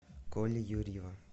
коли юрьева